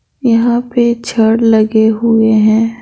यहां पे छड़ लगे हुए हैं ।